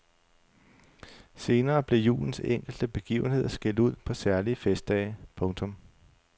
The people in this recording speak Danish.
Senere blev julens enkelte begivenheder skilt ud på særlige festdage. punktum